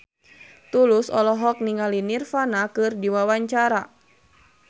Tulus olohok ningali Nirvana keur diwawancara